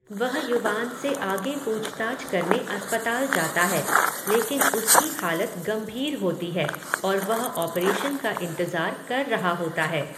वह युवान से आगे पूछताछ करने अस्पताल जाता है, लेकिन उसकी हालत गंभीर होती है और वह ऑपरेशन का इंतजार कर रहा होता है।